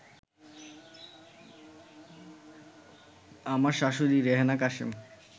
আমার শাশুড়ি রেহেনা কাশেম